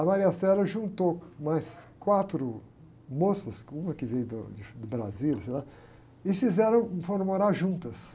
A juntou mais quatro moças, uma que veio do, de Brasília, sei lá, e fizeram, foram morar juntas.